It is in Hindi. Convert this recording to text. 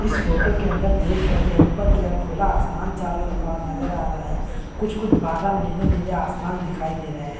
इस फोटो के अंदर देख सकते है ऊपर के ओर खुला आसमान चारो और नजर आ रहा है कुछ-कुछ बादल नीले-नीले आसमान दिखाई दे रहे हैं।